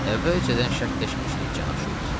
Əvvəlcədən şərtləşmişdik, cənab Şults.